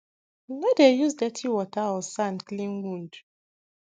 no dey use dirty water or sand clean wound